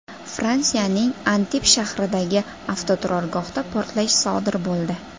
Fransiyaning Antib shahridagi avtoturargohda portlash sodir bo‘ldi.